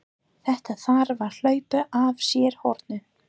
Þetta þarf að hlaupa af sér hornin!